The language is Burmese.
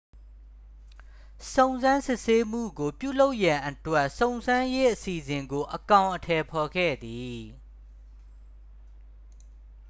စုံစမ်းစစ်ဆေးမှုကို ပြုလုပ်ရန်အတွက် စုံစမ်းရေးအစီအစဉ်ကို အကောင်အထည်ဖော်ခဲ့သည်